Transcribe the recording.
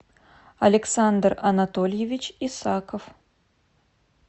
александр анатольевич исаков